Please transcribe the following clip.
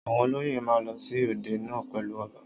Àwọn olóyè ma ń lọ sí òde náà pèlú ọba